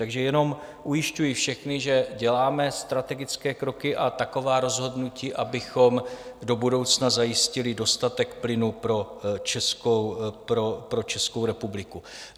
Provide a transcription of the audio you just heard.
Takže jenom ujišťuji všechny, že děláme strategické kroky a taková rozhodnutí, abychom do budoucna zajistili dostatek plynu pro Českou republiku.